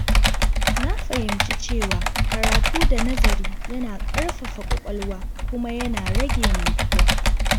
Na fahimci cewa karatu da nazari yana ƙarfafa kwakwalwa kuma yana rage mantuwa.